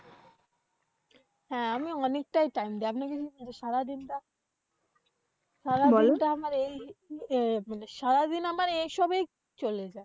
হ্যাঁ আমি অনেকটাই time দিই। সারাদিনটা আমার এই আহ সারাদিন আমার এসবে চলে যায়।